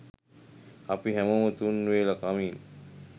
අපි හැමෝම තුන් වේල කමින්